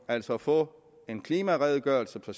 altså at få en klimaredegørelse for